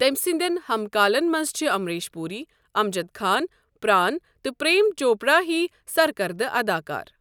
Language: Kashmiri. تٔمۍ سٕندین ہم كالن منز چھِ امبریش پوٗری، امجد خان ،پرٛان تہٕ پریم چوپرا ہی سركردٕ اداكار ۔